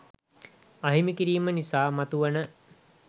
අහිමි කිරීම නිසා මතුවන